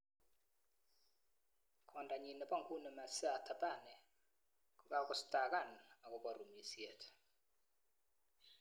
Kwondonyi nebo nguni Maesaiah Thabane kokakostakan akobo rumisiet.